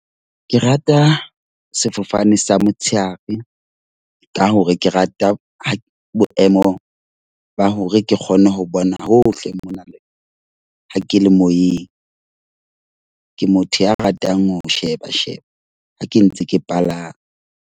Ke rata sefofane sa motshehare ka hore ke rata ho boemo ba hore ke kgone ho bona hohle mona. Le . Ha ke le moyeng, ke motho ya ratang ho sheba sheba ha ke ntse ke palame.